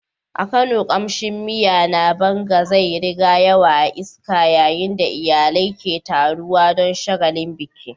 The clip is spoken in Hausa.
A Kano, kamshin miya na banga zai rika yawo a iska yayin da iyalai ke taruwa don shagalin biki.